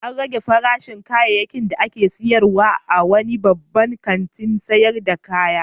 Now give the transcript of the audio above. An rage farashin kayayyakin da ake sayarwa a wani babban kantin sayar da kaya.